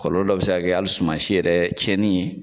Kɔlɔlɔ dɔ bi se ka kɛ hali sumansi yɛrɛ tiɲɛni ye.